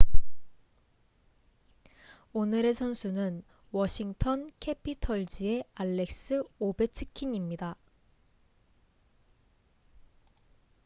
오늘의 선수는 워싱턴 캐피털즈의 알렉스 오베츠킨입니다